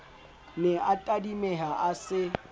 ne a tadimeha a se